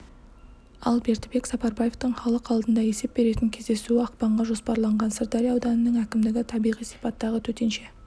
ал бердібек сапарбаевтың халық алдында есеп беретін кездесуі ақпанға жоспарланған сырдария ауданының әкімдігі табиғи сипаттағы төтенше